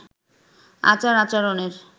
আচার আচরণের